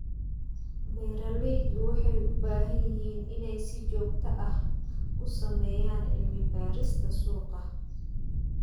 Beeralaydu waxay u baahan yihiin inay si joogto ah u sameeyaan cilmi-baarista suuqa.